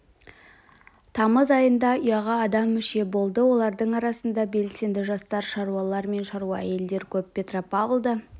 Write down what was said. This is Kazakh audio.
тамыз айында ұяға адам мүше болды олардың арасында белсенді жастар шаруалар мен шаруа әйелдер көп петропавлда